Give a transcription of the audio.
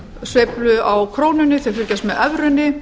sveiflu á krónunni þau fylgjast með evrunni